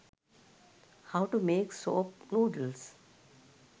how to make soap noodles